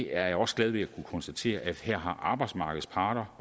er også glad ved at kunne konstatere at her har arbejdsmarkedets parter